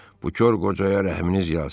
Bu kor qocaya rəhminiz yalsın.